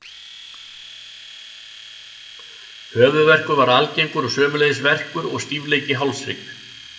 Höfuðverkur var algengur og sömuleiðis verkur og stífleiki í hálshrygg.